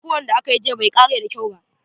Kokuwan da akayi jiya bai kare da kyau ba.